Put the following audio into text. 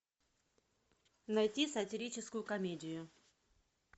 найти сатирическую комедию